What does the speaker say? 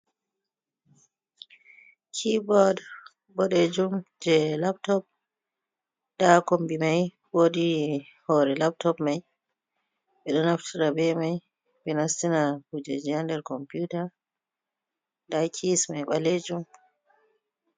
Kiibod boɗeejum jee laptop, ha kombi mai woodi hoore laptop mai, ɓe ɗo naftira bee mai, ɓe nastina kujeeji haa nder komputa, daa kis mai ɓaleejum.